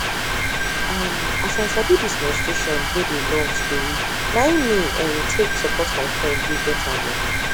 um as i sabi this menstruation wey dey long storyna him me um take support my friend wey get am ooo